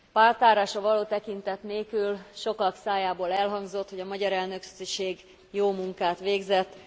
Pártállásra való tekintet nélkül sokak szájából elhangzott, hogy a magyar elnökség jó munkát végzett.